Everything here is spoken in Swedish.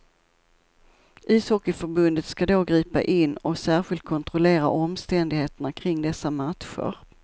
Ishockeyförbundet ska då gripa in och särskilt kontrollera omständigheterna kring dessa matcher.